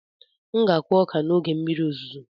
M ga-akụ ọka n'oge mmiri ozuzo